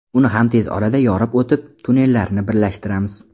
Uni ham tez orada yorib o‘tib, tunnellarni birlashtiramiz”.